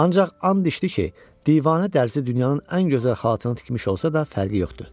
Ancaq and içdi ki, divanə dərzi dünyanın ən gözəl xalatını tikmiş olsa da, fərqi yoxdur.